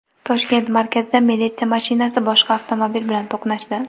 Toshkent markazida militsiya mashinasi boshqa avtomobil bilan to‘qnashdi.